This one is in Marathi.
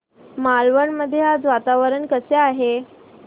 मालवण मध्ये आज वातावरण कसे आहे